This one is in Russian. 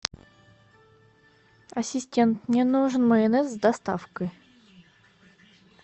ассистент мне нужен майонез с доставкой